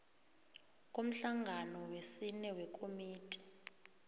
komhlangano wesine wekomiti